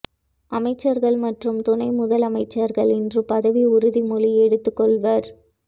அமைச்சர்கள் மற்றும் துணையமைச்சர்கள் இன்று பதவி உறுதிமொழி எடுத்துக் கொள்வர்